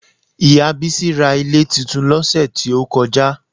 Ìyá Bísí ra ilé titun lọ́sẹ̀ tí ó kọjá